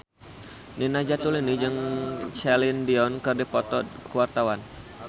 Nina Zatulini jeung Celine Dion keur dipoto ku wartawan